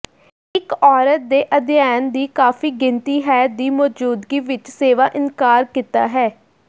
ਇੱਕ ਔਰਤ ਦੇ ਅਧਿਐਨ ਦੀ ਕਾਫੀ ਗਿਣਤੀ ਹੈ ਦੀ ਮੌਜੂਦਗੀ ਵਿੱਚ ਸੇਵਾ ਇਨਕਾਰ ਕੀਤਾ ਹੈ